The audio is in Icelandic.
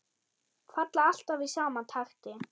Falla alltaf í sama takti.